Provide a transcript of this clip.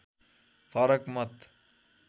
फरक मत